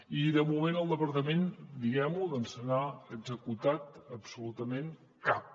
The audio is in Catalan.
i de moment el departament diguem ho no se n’ha executat absolutament cap